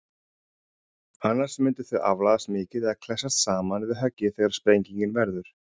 Annars myndu þau aflagast mikið eða klessast saman við höggið þegar sprengingin verður.